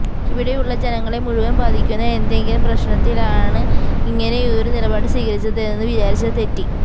ഇവിടെയുള്ള ജനങ്ങളെ മുഴുവൻ ബാധിക്കുന്ന എന്തെങ്കിലും പ്രശ്നത്തിലാണ് ഇങ്ങനെയൊരു നിലപാട് സ്വീകരിച്ചതെന്നു വിചാരിച്ചാൽ തെറ്റി